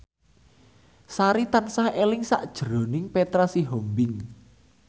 Sari tansah eling sakjroning Petra Sihombing